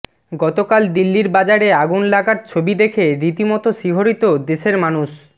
গতকাল দিল্লির বাজারে আগুন লাগার ছবি দেখে রীতিমতো শিহোরিত দেশের মানুষ